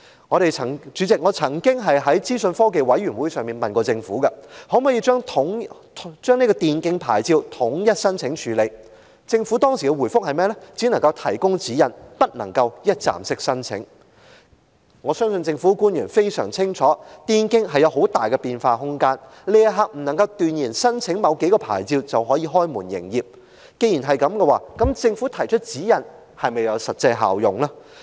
我曾經在資訊科技及廣播事務委員會上向政府提問，可否統一處理電競牌照的申請，政府當時的回覆是只能提供指引，不能一站式申請，我相信政府官員非常清楚，電競有很大的變化空間，目前不能斷言申請某幾種牌照便能開門營業，既然如此，政府提供的指引又是否有實際效用？